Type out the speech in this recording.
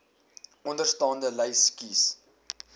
onderstaande lys kies